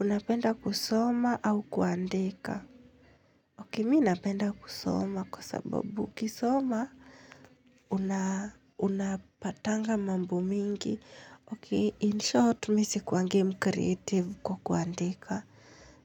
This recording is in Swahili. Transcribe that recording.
Unapenda kusoma au kuandika. Ok, miinapenda kusoma kwa sababu ukisoma unapatanga mambo mingi. Ok, in short, misi kuangi mcreative kwa kuandika.